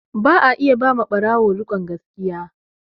Ba a iya ba ma ɓarawo rikon gaskiya